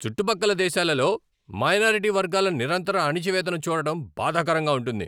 చుట్టుపక్కల దేశాలలో మైనారిటీ వర్గాల నిరంతర అణచివేతను చూడటం బాధాకరంగా ఉంటుంది.